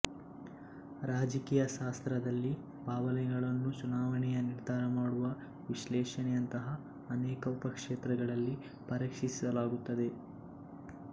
ರಾಜಕೀಯ ಶಾಸ್ತ್ರದಲ್ಲಿ ಭಾವನೆಗಳನ್ನು ಚುನಾವಣೆಯ ನಿರ್ಧಾರಮಾಡುವ ವಿಶ್ಲೇಷಣೆಯಂತಹ ಅನೇಕ ಉಪಕ್ಷೇತ್ರಗಳಲ್ಲಿ ಪರೀಕ್ಷಿಸಲಾಗುತ್ತದೆ